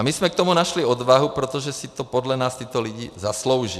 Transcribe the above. A my jsme k tomu našli odvahu, protože si to podle nás tyto lidi zaslouží.